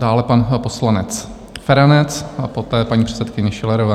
Dále pan poslanec Feranec a poté paní předsedkyně Schillerová.